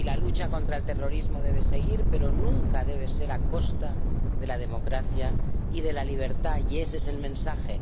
Y la lucha contra el terrorismo debe seguir, pero nunca debe ser a costa de la democracia y de la libertad, y ese es el mensaje.